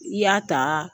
I y'a ta